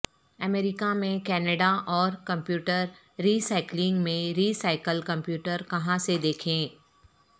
امریکہ میں کینیڈا اور computer recycling میں ری سائیکل کمپیوٹر کہاں سے دیکھیں